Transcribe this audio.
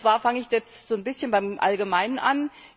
Und zwar fange ich jetzt ein bisschen beim Allgemeinen an.